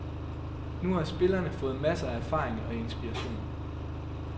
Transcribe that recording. Nu har spillerne fået masser af erfaring og inspiration.